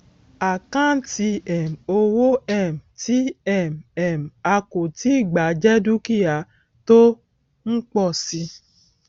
àkáǹtì um owó um tí um um a kò tíì gbà jẹ dúkìá tó ń pọ síi